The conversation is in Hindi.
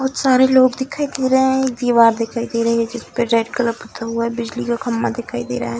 बहुत सारे लोग दिखाई दे रहें हैं एक दीवार दिखाई दे रही है जिसपे रेड कलर गुथा हुआ है बिजली का खम्भा दिखाई दे रहा है।